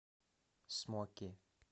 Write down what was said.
смоки